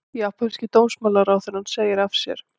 Japanski dómsmálaráðherrann segir af sér